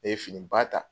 Ne ye fini ba ta